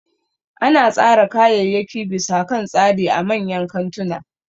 Ana tsara kayayyaki bisa kan tsari a manyan kantuna